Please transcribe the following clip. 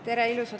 Tere!